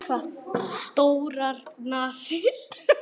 Stórar nasir.